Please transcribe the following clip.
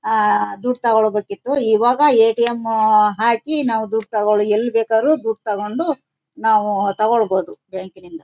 ಆಹ್ಹ್ಹ್ ದುಡ್ಡ್ ತಗೊಳ್ಬೇಕಿತ್ತು ಇವಾಗ ಎ ಟಿ ಎಮ್ ಹಾಕಿ ನಾವು ದುಡ್ಡ್ ತಗೋಳಿ ನಾವು ಎಲ್ ಬೇಕಾದರೂ ದುಡ್ಡ್ ತಗೊಂಡು ನಾವು ತಗೋಲ್ಬಾಹುದು ಬ್ಯಾಂಕ್ ಕ್ಕಿನಿಂದ.